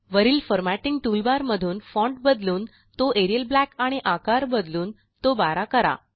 वरील formatting toolbar मधून font बदलून तो एरियल ब्लॅक आणि आकार बदलून तो 12 करा